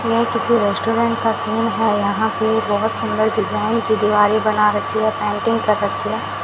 यह किसी रेस्टोरेंट का सीन है यहां पे बहोत सुंदर डिजाइन की दीवारें बना रखी है पेंटिंग कर रखी है।